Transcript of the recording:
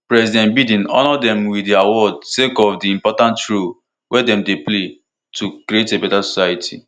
president biden honour dem wit di award sake of di important role wey dem dey play to create a beta society